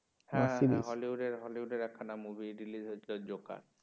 হ্যাঁ হ্যাঁ hollywood একখানা movie release হয়েছিল জোকার